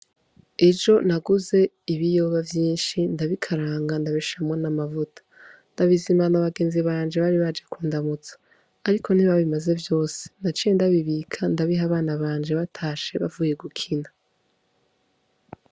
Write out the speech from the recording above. Ejo naguze ibiyoba vyinshi ndabikaranga ndabishiramwo n' amavuta ndabizimana abagenzi banje bari baje kundamutsa ariko ntibabimaze vyose naciye ndabibika ndabiha abana banje batashe bavuye gukina.